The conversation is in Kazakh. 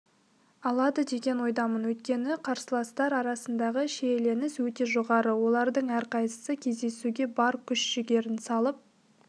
алады деген ойдамын өйткені қарсыластар арасындағы шиеленіс өте жоғары олардың әрқайсысы кездесуге бар күш-жігерін салып